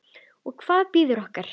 Og hvað bíður okkar?